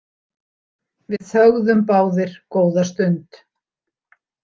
Við þögðum báðir góða stund.